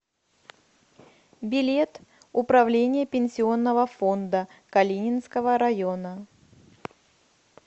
билет управление пенсионного фонда калининского района